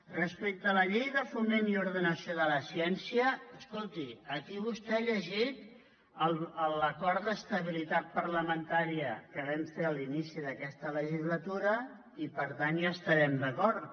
respecte a la llei de foment i ordenació de la ciència escolti aquí vostè ha llegit l’acord d’estabilitat parlamentària que vam fer a l’inici d’aquesta legislatura i per tant hi estarem d’acord